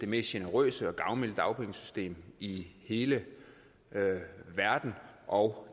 mest generøse og gavmilde dagpengesystem i hele verden og